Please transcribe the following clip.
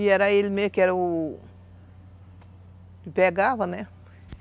E era ele mesmo que era o... que pegava, né?